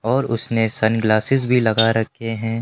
और उसने sunglasses भी लगा रखे हैं।